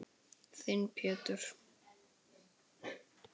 Þinn Pétur.